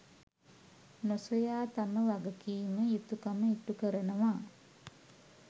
නොසොයා තම වගකීම, යුතුකම ඉටුකරනවා.